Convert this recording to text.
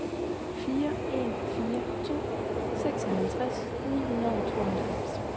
fire en fire to seksoghalvtreds ni hundrede og tooghalvfems